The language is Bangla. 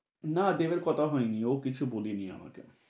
না দেবের কথা হয়নি, ও কিছু বলেনি আমাকে।